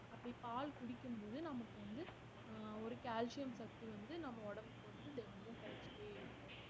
அப்படி பால் குடிக்கும் போது நமக்கு வந்து அஹ் ஒரு கால்சியம் சத்து வந்து நம்ம உடம்புக்கு வந்து தினமும் கிடைச்சுட்டே இருக்கும்